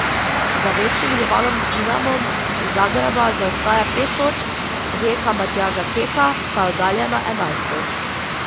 Za večnim rivalom Dinamom iz Zagreba zaostaja pet točk, Rijeka Matjaža Keka pa je oddaljena enajst točk.